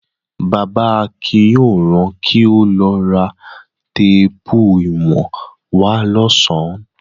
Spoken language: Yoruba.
Bàbá Akin yóò ran kí ó lọ ra téépù ìwọ̀n wá lọ́sàn-án.